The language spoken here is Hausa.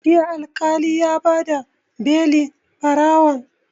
Jiya Alƙali ya ba da belin ɓarawon